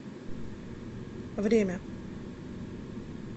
время